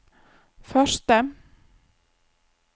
første